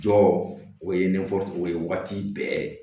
Jɔ o ye nekɔli o ye waati bɛɛ